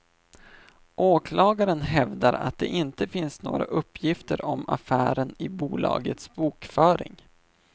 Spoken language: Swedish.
Åklagaren hävdar att det inte finns några uppgifter om affären i bolagets bokföring.